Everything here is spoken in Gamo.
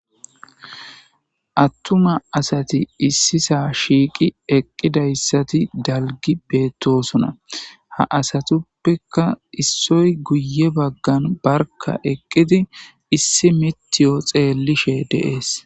Attuma asati issisa shiiqi eqqidayssati dalgi beettosona ha asatuppeka issoy guye baggan barka eqqidi issi mitiyo xeellishe deees.